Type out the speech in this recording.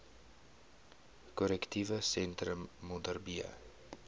korrektiewe sentrum modderbee